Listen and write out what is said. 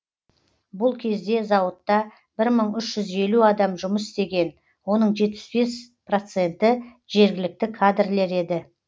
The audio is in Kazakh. бұл кезде зауыттта бір мың үш жүз елу адам жұмыс істеген оның жетпіс бес проценті жергілікті кадрлер еді